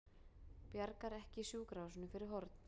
Bjargar ekki sjúkrahúsinu fyrir horn